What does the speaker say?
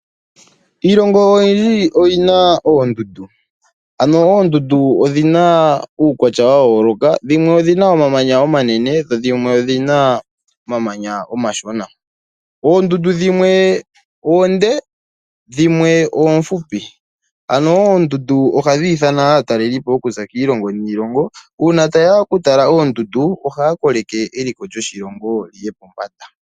Iilongo oyindji oyina oondundu, ano oondundu odhina uukwatya wa yooloka. Dhimwe odhina omamanya omanene dho dhimwe odhina omamanya omashona. Oondundu dhimwe oonde dhimwe oofupi, ano oondundu ohadhi ithana aatalelipo okuza kiilongo niilongo. Uuna ta yeya oku tala oondundu ohaya koleke eliko lyoshilongo liye pombanda.